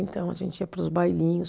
Então, a gente ia para os bailinhos.